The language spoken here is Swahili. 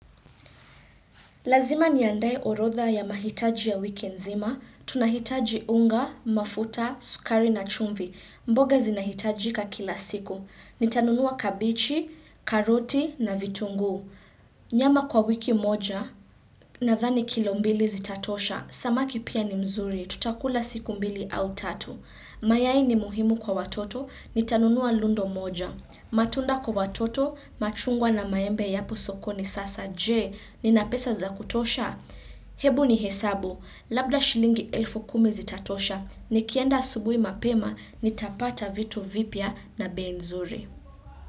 Lazima niandae orodha ya mahitaji ya wiki nzima. Tunahitaji unga, mafuta, sukari na chumvi. Mboga zinahitajika kila siku. Nitanunua kabichi, karoti na vitunguu. Nyama kwa wiki moja nadhani kilombili zitatosha. Samaki pia ni mzuri. Tutakula siku mbili au tatu. Mayai ni muhimu kwa watoto, nitanunua lundo moja. Matunda kwa watoto, machungwa na maembe yapo sokoni sasa je, ninapesa za kutosha? Hebu ni hesabu, labda shilingi elfu kumi zitatosha, nikienda asubui mapema, nitapata vitu vipya na bei nzuri.